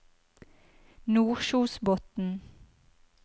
Nordkjosbotn